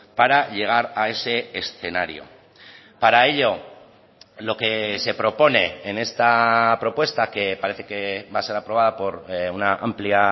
para llegar a ese escenario para ello lo que se propone en esta propuesta que parece que va a ser aprobada por una amplia